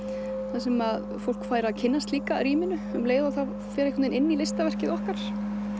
þar sem fólk fær að kynnast líka rýminu um leið og það fer inn í listaverkið okkar